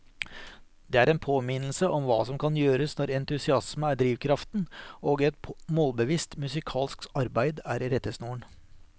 Det er en påminnelse om hva som kan gjøres når entusiasme er drivkraften og et målbevisst musikalsk arbeid er rettesnoren.